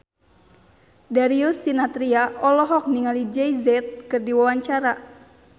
Darius Sinathrya olohok ningali Jay Z keur diwawancara